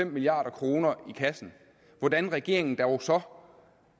milliard kroner i kassen hvordan regeringen dog så